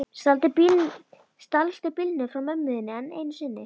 Stalstu bílnum frá mömmu þinni enn einu sinni?